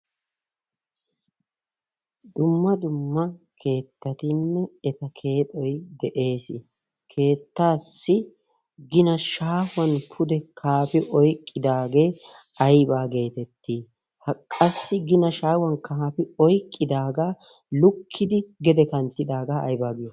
dumma dumma keettatinne eta keexoi de'ees keettaassi gina shaahuwan pude kaafi oyqqidaagee aybaa geetettii haqqassi gina shaahuwan kaafi oiqqidaagaa lukkidi gede kanttidaagaa aybaa giyo?